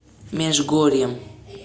межгорьем